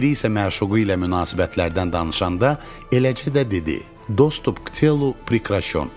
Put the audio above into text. Biri isə məşuqu ilə münasibətlərdən danışanda eləcə də dedi: Dostęp k cielu prekrașon.